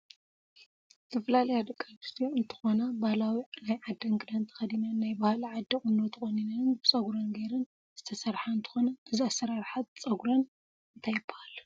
ዝተፈላለያ ደቂ አንስትዮ እንትኮና ባህላዊ ናይ ዓደን ክዳን ተከዲነን ናይ ባህሊ ዓዲን ቁኖ ተቆኒነን ብፀጉረን ገይረን ዝተሰርሓ እንትኮና እዚ ኣሰራራሓ ፅግረን እንታይ ይባሃል?